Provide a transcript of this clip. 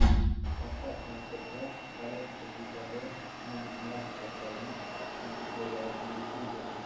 поставь мастер класс коллекций екб нумизматика бонистика антиквариат на ютьюбе